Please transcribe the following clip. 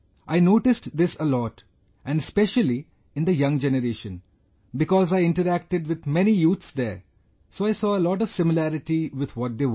I noticed this a lot, and especially in the young generation, because I interacted with many youths there, so I saw a lot of similarity with what they want